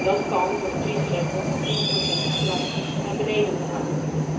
Dat kan door de kiesdrempel van 10 procent drastisch naar beneden te halen.